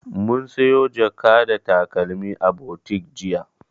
Mun siyo jaka da takalmi a butik jiya.